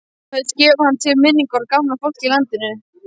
Kveðst gefa hann til minningar um gamla fólkið í landinu.